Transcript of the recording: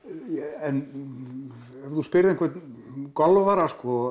en ef þú spyrð einhvern golfara